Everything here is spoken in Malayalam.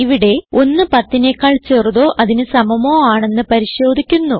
ഇവിടെ 110നെക്കാൾ ചെറുതോ അതിന് സമമോ ആണെന്ന് പരിശോധിക്കുന്നു